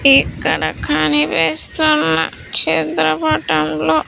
ఇక్కడ కనిపిస్తున్న చిత్రపటంలో.